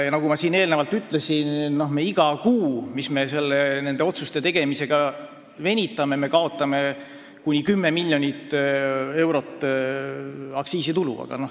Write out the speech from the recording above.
Ja nagu ma enne ütlesin, me kaotame iga kuu, mis me nende otsuste tegemisega venitame, kuni 10 miljonit eurot aktsiisitulu.